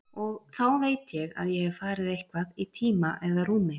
Og þá veit ég að ég hef farið eitthvað í tíma eða rúmi.